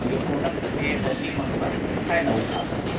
आऊ ये प्रोडेक्ट से पब्लिक मन ओकर फायदा उठा सके--